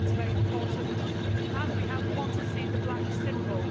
That is very important, and we want to see the black symbol.